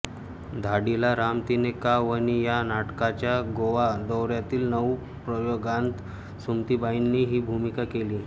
धाडिला राम तिने का वनी या नाटकाच्या गोवा दौऱ्यातील नऊ प्रयोगांत सुमतीबाईंनी ही भूमिका केली